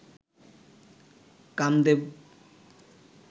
Kamadeva